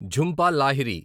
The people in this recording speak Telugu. ఝుంపా లాహిరి